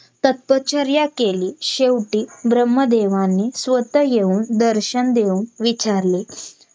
आता मी काय करते तुम्ही दहा तारखेला Bank जावा .